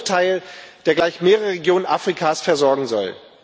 also nur ein Bruchteil, der gleich mehrere Regionen Afrikas versorgen soll.